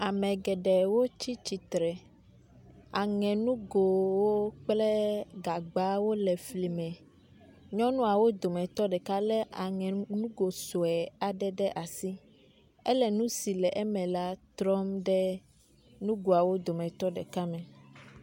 ame geɖewo tsítsitsre eŋenugowo kple gagbawo le fli me nyɔnuawo dòmetɔ ɖeka le aŋenugo soe aɖe ɖe asi éle nusi le eme la trɔm ɖe nugoawo dometɔ ɖeka me